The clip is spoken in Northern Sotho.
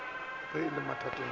ge a le mathateng a